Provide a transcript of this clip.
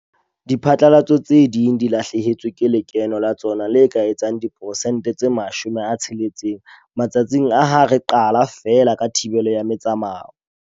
Diphatlalatso tse ding di lahlehetswe ke lekeno la tsona le ka etsang diperesente tse 60 matsatsing a ha re qala feela ka thibelo ya metsamao.